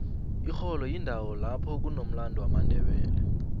ixholo yindowo apho kunomlandu womandebele